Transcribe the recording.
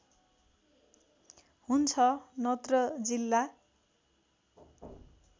हुन्छ नत्र जिल्ला